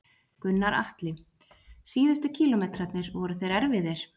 Gunnar Atli: Síðustu kílómetrarnir, voru þeir erfiðir?